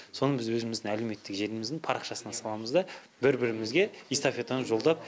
соны біз өзіміздің әлеуметтік желіміздің парақшасына саламыз да бір бірімізге эстафетаны жолдап